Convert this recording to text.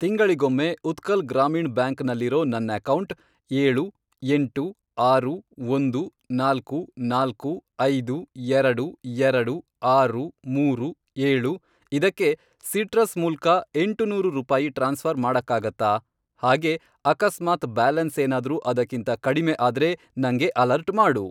ತಿಂಗಳಿಗೊಮ್ಮೆ ಉತ್ಕಲ್ ಗ್ರಾಮೀಣ್ ಬ್ಯಾಂಕ್ ನಲ್ಲಿರೋ ನನ್ ಅಕೌಂಟ್, ಏಳು, ಎಂಟು, ಆರು, ಒಂದು, ನಾಲ್ಕು, ನಾಲ್ಕು, ಐದು, ಎರಡು, ಎರಡು, ಆರು, ಮೂರು, ಏಳು, ಇದಕ್ಕೆ ಸಿಟ್ರಸ್ ಮೂಲ್ಕ ಎಂಟುನೂರು ರೂಪಾಯಿ ಟ್ರಾನ್ಸ್ಫ಼ರ್ ಮಾಡಕ್ಕಾಗತ್ತಾ? ಹಾಗೇ ಅಕಸ್ಮಾತ್ ಬ್ಯಾಲೆನ್ಸ್ ಏನಾದ್ರೂ ಅದಕ್ಕಿಂತ ಕಡಿಮೆ ಆದ್ರೆ ನಂಗೆ ಅಲರ್ಟ್ ಮಾಡು.